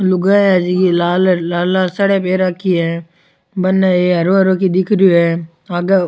लुगाईया है लाल लाल साड़ियां पहर राखी है बनने वो एक हरो हरो की दिख रो है आगे --